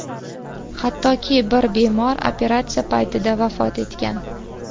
Hattoki bir bemor operatsiya paytida vafot etgan.